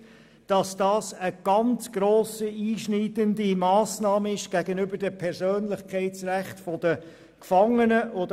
Es ist klar, dass dies eine ganz grosse, einschneidende Massnahme gegenüber den Persönlichkeitsrechten der Gefangenen ist.